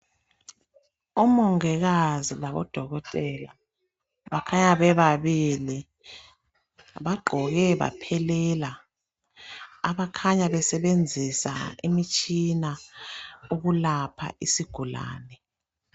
Omongikazi labodokotela bakhanya bebabilii bagqoke baphelela abakhanya basebenzisa imitshina ukulapha isigulane.